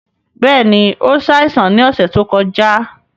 Bẹ́ẹ̀ni, o ṣáìsàn ni ọṣẹ to kọja